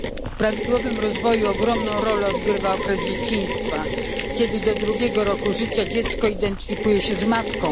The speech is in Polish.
W prawidłowym rozwoju ogromną rolę odgrywa okres dzieciństwa, kiedy to do drugiego roku życia dziecko nieświadomie identyfikuje się z matką.